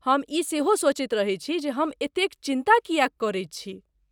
हम ई सेहो सोचैत रहैत छी जे हम एतेक चिन्ता किएक करैत छी।